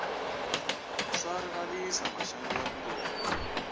swa rivalisa maxangu ya vutomi